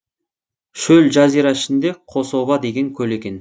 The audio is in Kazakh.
шөл жазира ішінде қособа деген көл екен